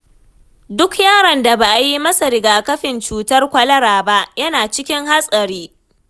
Duk yaron da ba a yi masa rigakafin cutar kwalara ba, yana cikin hatsari